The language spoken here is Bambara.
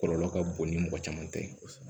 Kɔlɔlɔ ka bon ni mɔgɔ caman tɛ